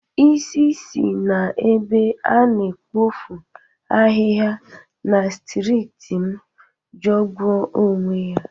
Isi si n'ebe a na-epofu ahịha na strịt m jọgbụru onwe ya.